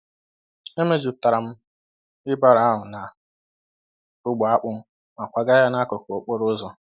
E mejupụtara m wheelbarrow ahụ na ogbe akpụ ma kwagaa ya n'akụkụ okporo ụzọ.